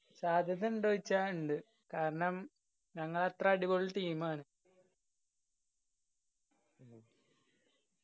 സാധ്യത ഇണ്ടോ ചോദിച്ചാ ഇണ്ട്. കാരണം ഞങ്ങൾ അത്ര അടിപൊളി team ആണ്.